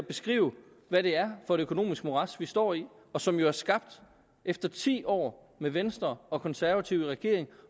beskrive hvad det er for et økonomisk morads vi står i og som er skabt efter ti år med venstre og konservative i regering